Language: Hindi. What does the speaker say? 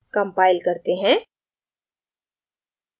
compile करते हैं